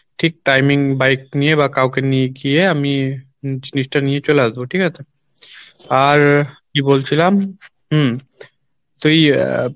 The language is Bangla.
ঠিক timing bike করে বা কাওকে নিয়ে গিয়ে আমি জিনিসটা নিয়ে চলে আসবো ঠিক আছে? আর কী বলছিলাম হম তুই আহ